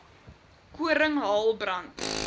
koring hael brand